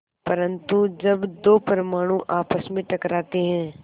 परन्तु जब दो परमाणु आपस में टकराते हैं